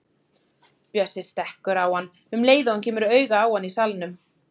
Bjössi stekkur á hann um leið og hann kemur auga á hann í salnum.